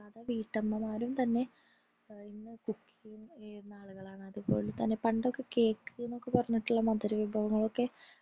വീട്ടമ്മമ്മാരും തന്നെ ഇന്ന് cook യുന ആളുകളാണ് പണ്ടൊക്കെ cake എന്നൊക്കെ പറഞ്ഞിട്ടുള്ള മധുര വിഭവങ്ങളൊക്കെ